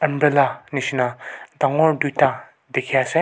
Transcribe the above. Bela jisna dagur duita dekhi ase.